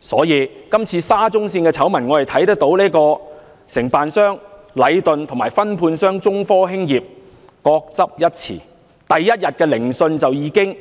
所以，我們從今次沙中線的醜聞可以看到，承辦商禮頓及分判商中科興業各執一詞，雙方在第一天聆訊就已經